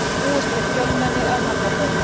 Búist við fjölmenni að Hamragörðum